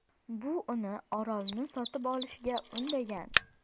Bu uni orolni sotib olishga undagan.